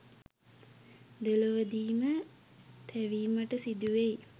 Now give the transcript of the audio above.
දෙලොවදීම තැවීමට සිදුවෙයි.